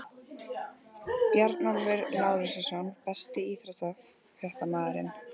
Bjarnólfur Lárusson Besti íþróttafréttamaðurinn?